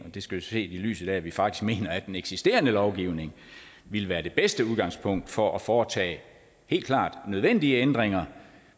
det skal ses i lyset af at vi faktisk mener at den eksisterende lovgivning ville være det bedste udgangspunkt for at foretage helt klart nødvendige ændringer